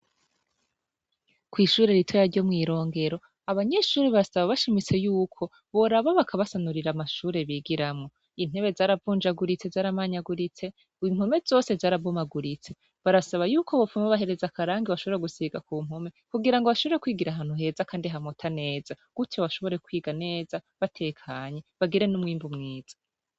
Kw'ishure rito yaryo mwi Rongero abanyeshuri basaba bashimise y'uko boraba bakabasanurira amashure bigiramo intebe zaravunjaguritse zaramanyaguritse. Impome zose zarabomaguritse barasaba yuko bopfume bahereza karangi washobora gusiga ku mpume kugira ngo bashobore kwigira ahantu heza kandi hamota neza gutyo washobore kwiga neza batekanye bagire n'umwimbu mwiza.